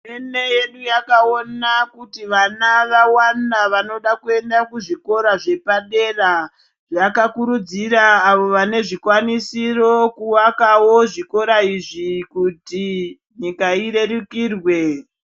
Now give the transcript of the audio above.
Hurumende yedu yakaona kuti vana vawanda vanoda kuenda kuzvikora zvepadera. Yakakurudzira avo vane zvikwanisiro kuvakawo zvikora izvi kuti nyika irerukirwe.